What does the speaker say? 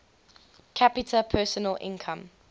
capita personal income